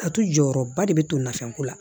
A tu jɔyɔrɔba de be to nafɛn ko la